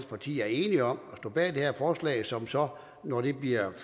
partier er enige om at stå bag det her forslag som så når det bliver